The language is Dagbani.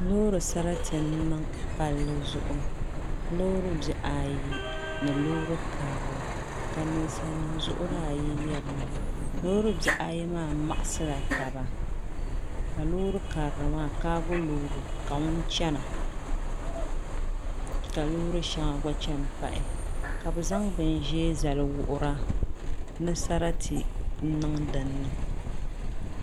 Loori sarati n niŋ palli zuɣu loori bihi ayi ni loori karili ka ninsal nim zuɣuri ayi yirina looribihi ayi maa maɣasila taba ka loori karili maa kaago loori loori ka ŋun chɛna ka loori so gba chɛni pahi ka bi zaŋ bin ʒiɛ zali wuhura ni sarati n niŋ dinni